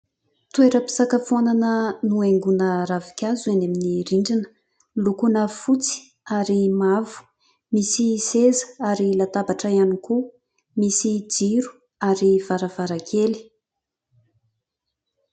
Toeram-pisakafoanana nohaingoina ravinkazo eny amin'ny rindrina, lokoina fotsy ary mavo, misy seza ary latabatra ihany koa, misy jiro ary varavarankely.